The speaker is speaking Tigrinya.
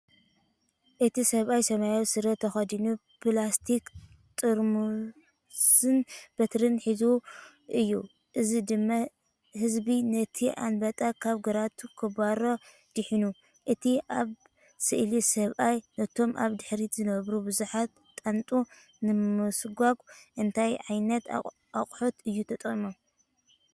እቲ ሰብኣይ ሰማያዊ ስረ ተኸዲኑ ፕላስቲክ ጥርሙዝን በትሪን ሒዙ እዩ፤ እዚ ድማ ህዝቢ ነቲ ኣንበጣ ካብ ግራውቱ ከባርሮ ዲሒኑ። እቲ ኣብ ስእሊ ሰብኣይ ነቶም ኣብ ድሕሪት ዝነበሩ ብዙሓት ጣንጡ ንምስጓግ እንታይ ዓይነት ኣቑሑት እዩ ተጠቒሙ፧